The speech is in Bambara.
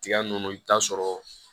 Tiga nunnu i bi t'a sɔrɔ